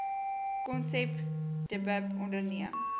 konsep dbip onderneem